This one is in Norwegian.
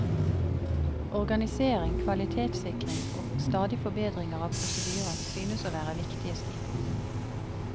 Organisering, kvalitetssikring og stadig forbedringer av prosedyrer synes å være viktige stikkord.